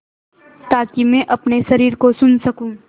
ताकि मैं अपने शरीर को सुन सकूँ